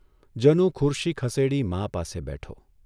જનુ ખુરશી ખસેડી મા પાસે બેઠો.